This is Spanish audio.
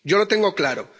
Yo lo tengo claro.